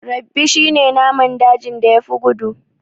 Rabbi shi ne naman dajin da ya fi gudu